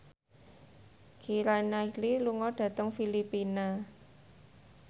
Keira Knightley lunga dhateng Filipina